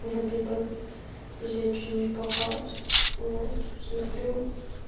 может ты бы взять что-нибудь похавать вот смотрю